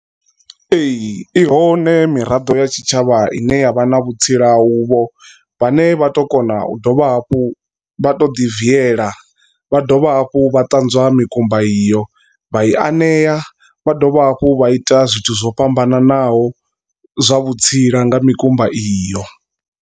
Ee ihone miraḓo ya tshitshavha ine yavha na vhutsila uvho vha ne vha tou kona u dovha hafhu vha to ḓi viela vha dovha hafhu vha ṱanzwa mikumba iyo vha i anea vha dovha hafhu vha ita zwithu zwo fhambananaho zwa vhutsila nga mikumba iyo.